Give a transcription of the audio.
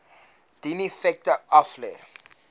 dien effekte aflê